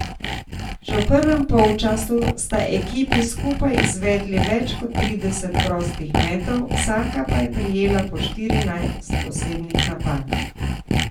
Že v prvem polčasu sta ekipi skupaj izvedli več kot trideset prostih metov, vsaka pa je prejela po štirinajst osebnih napak.